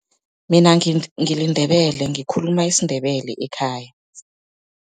Mina ngiliNdebele, ngikhuluma isiNdebele ekhaya.